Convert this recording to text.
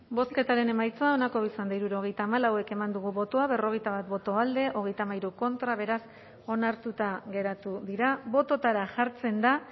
bozketaren emaitza onako izan da hirurogeita hamalau eman dugu bozka hogeita sei boto alde cuarenta y ocho contra beraz ez dira onartu bototara jartzen dira